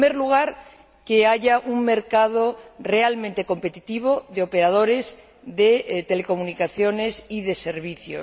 En primer lugar, que haya un mercado realmente competitivo de operadores de telecomunicaciones y de servicios.